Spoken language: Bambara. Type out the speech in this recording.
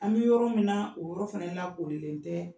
An bɛ yɔrɔ min, o yɔrɔ fɛnɛ lakorilen tɛɛ